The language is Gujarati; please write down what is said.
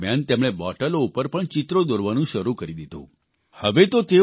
લોકડાઉન દરમિયાન તેમણે બોટલો ઉપર પણ ચિત્રો દોરવાનું શરૂ કરી દીધું